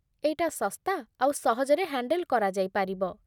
ଏଇଟା ଶସ୍ତା ଆଉ ସହଜରେ ହ୍ୟାଣ୍ଡେଲ୍ କରାଯାଇପାରିବ ।